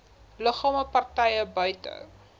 liggame partye buite